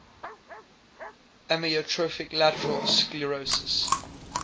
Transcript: amyotrophic lateral sclerosis